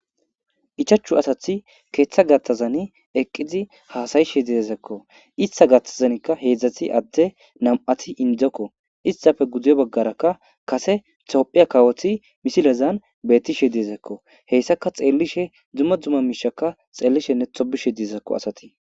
ichachu asathi keeththa gattazani eqqizi haasayishe diezekko ista gattazanikka heedzdzati adde nam7ati indzokko istafe guduyo baggarakka kase tophiya kawoti misilezan bettishe diezekko heyssaka xeellishe dzumma dzuma miishaka xeellishenne tobishe diezekko asati